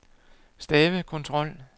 stavekontrol